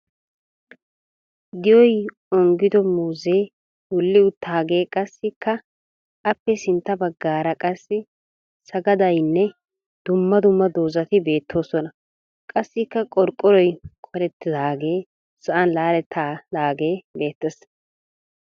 Di"oy onggido muuzzee wulli uttaagee qassikka aappe sintta baggaara qassi sagadayinne dumma dumma dozzati beettoosona. Qassikka qorqqoroy kolettidaagee sa'an laalettidaagee beettes.